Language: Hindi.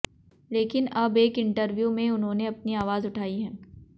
लेकिन अब एक इंटरव्यू में उन्होंने अपनी आवाज उठाई है